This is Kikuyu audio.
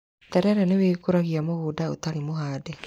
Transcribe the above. Terere nĩ wĩkũragia mũgũnda ũtarĩ mũhande.